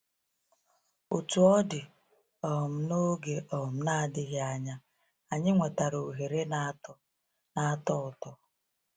Otú ọ dị, um n’oge um na-adịghị anya, anyị nwetara ohere na-atọ na-atọ ụtọ.